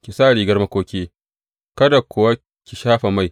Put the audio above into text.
Ki sa rigar makoki, kada kuwa ki shafa mai.